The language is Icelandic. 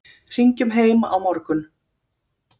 Hringjum heim á morgun.